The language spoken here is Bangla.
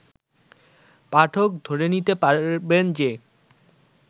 পাঠক ধরে নিতে পারবেন যে